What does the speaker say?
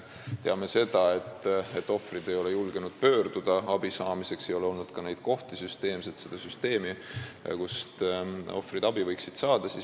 Teame sedagi, et ohvrid ei ole julgenud kuhugi pöörduda abi saamiseks ja ei ole olnud ka neid kohti, seda süsteemi, kust ohvrid võiksid abi saada.